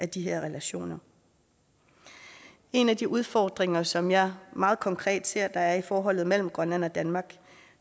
de her relationer en af de udfordringer som jeg meget konkret ser der er i forholdet mellem grønland og danmark